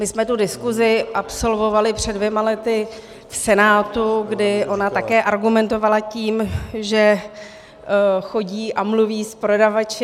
My jsme tu diskusi absolvovali před dvěma lety v Senátu, kdy ona také argumentovala tím, že chodí a mluví s prodavači.